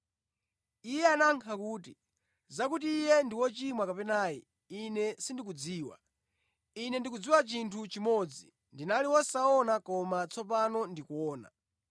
Iye anayankha kuti, “Zakuti Iye ndi wochimwa kapena ayi, ine sindikudziwa. Ine ndikudziwa chinthu chimodzi. Ndinali wosaona koma tsopano ndikuona!”